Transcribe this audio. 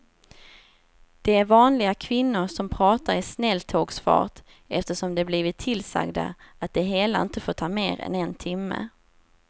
Det är vanliga kvinnor som pratar i snälltågsfart eftersom de blivit tillsagda att det hela inte får ta mer än en timme.